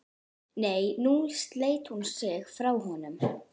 Nei, nú sleit hún sig frá honum.